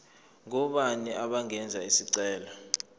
ngobani abangenza isicelo